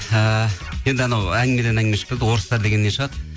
ыыы енді анау әңгімеден әңгіме орыстар дегеннен шығар